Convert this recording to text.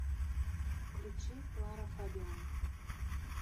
включи лара фабиан